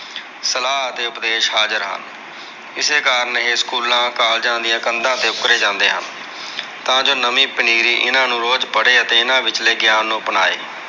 ਸਲਾਹ ਅਤੇ ਉਪਦੇਸ਼ ਹਾਜ਼ਰ ਹਨ। ਇਸੇ ਕਾਰਨ ਇਹ ਸਕੂਲਾਂ, ਕਾਲਜਾ ਦੀਆਂ ਕੰਧਾਂ ਤੇ ਉੱਕਰੇ ਜਾਂਦੇ ਹਨ। ਤਾਂ ਜੋ ਨਵੀ ਪਨੀਰੀ ਇਹਨਾਂ ਨੂੰ ਰੋਜ ਪੜ੍ਹੇ ਅਤੇ ਇਹਨਾਂ ਵਿਚਲੇ ਗਿਆਨ ਨੂੰ ਅਪਣਾਏ।